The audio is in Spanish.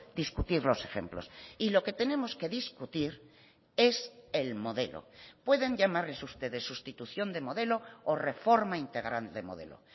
discutir los ejemplos y lo que tenemos que discutir es el modelo pueden llamarles ustedes sustitución de modelo o reforma integral de modelo